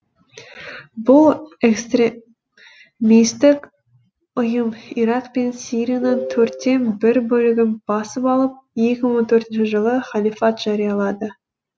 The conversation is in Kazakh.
бұл экстремистік ұйым ирак пен сирияның төрттен бір бөлігін басып алып екі мың он төртінші жылы халифат жариялады